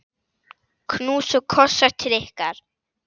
Knús og kossar til ykkar.